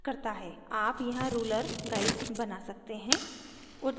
आप यहाँ ruler guides बना सकते हैं